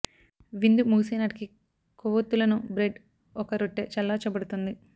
విందు ముగిసే నాటికి కొవ్వొత్తులను బ్రెడ్ ఒక రొట్టె చల్లార్చబడుతుంది